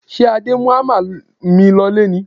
Ṣé Adé mú hámà mi lọlé ni?